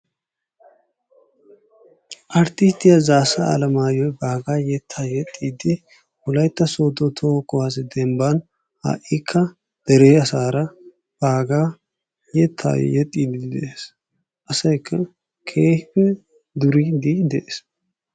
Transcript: Arttisttiya Zaaassa Alemaayoy baagaa yettaa texxidi wolaytta sooddo toho uwaasiya demban ha'ikka dere asara baagaa yettaa yexxidi de'ees. Asaykka keehi duriidi de'ees.